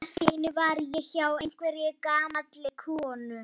Allt í einu var ég hjá einhverri gamalli konu.